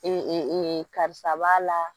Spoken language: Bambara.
karisa b'a la